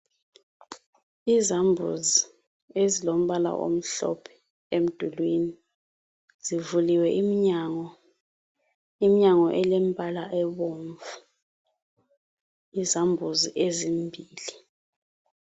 Izambuzi ezilombala omhlophe emdulwini zivuliwe iminyango, iminyango elembala ebomvu izambuzi ezimbili.